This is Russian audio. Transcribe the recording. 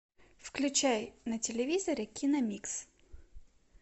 включай на телевизоре киномикс